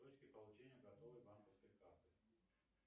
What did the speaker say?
точки получения готовой банковской карты